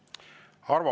Millel põhineb see eeldus?